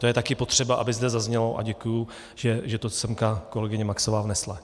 To je také potřeba, aby zde zaznělo, a děkuji, že to sem kolegyně Maxová vnesla.